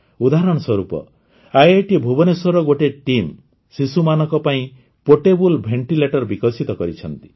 ଉଦାହରଣ ସ୍ୱରୂପ ଆଇଆଇଟି ଭୁବନେଶ୍ୱରର ଗୋଟିଏ ଟିମ୍ ଶିଶୁମାନଙ୍କ ପାଇଁ ପୋର୍ଟେବଲ୍ ଭେଣ୍ଟିଲେଟର ବିକଶିତ କରିଛନ୍ତି